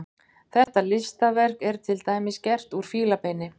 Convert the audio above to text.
Þetta listaverk er til dæmis gert úr fílabeini.